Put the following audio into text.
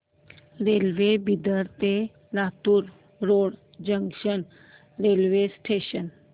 railway Bidar ते Latur road junction railway station